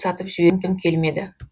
сатып жібергім келмеді